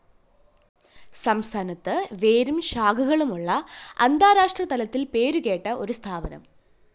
സംസ്ഥാനത്ത് വേരും ശാഖകളുമുള്ള അന്താരാഷ്ട്ര തലത്തില്‍ പേരുകേട്ട ഒരു സ്ഥാപനം